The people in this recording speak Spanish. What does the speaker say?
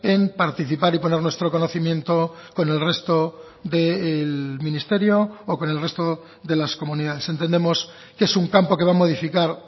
en participar y poner nuestro conocimiento con el resto del ministerio o con el resto de las comunidades entendemos que es un campo que va a modificar